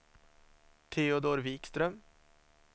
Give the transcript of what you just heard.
Teodor Wikström